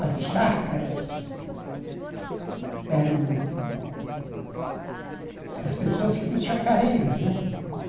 As chácaras eram... As pessoas, os chacareiros, né?